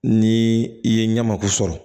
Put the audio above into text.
Ni i ye ɲɛmaku sɔrɔ